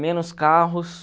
menos carros.